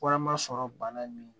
Warama sɔrɔ bana in